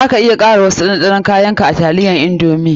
Za ka iya kara wasu kayan ɗanɗanon ka a taliyan indomie.